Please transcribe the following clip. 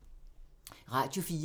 Radio 4